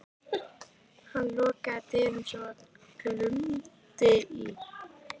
Hann lokaði dyrunum svo að glumdi í.